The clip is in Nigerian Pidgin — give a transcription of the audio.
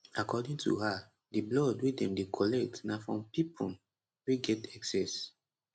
according to her di blood wey dem dey collect na from pipon wey get excess